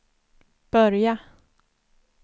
börja